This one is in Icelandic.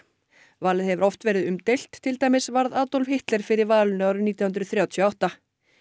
valið hefur oft verið umdeilt til dæmis varð Adolf Hitler fyrir valinu árið nítján hundruð þrjátíu og átta